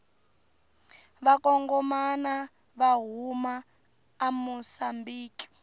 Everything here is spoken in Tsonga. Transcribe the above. vakangomana vahhuma amusambiki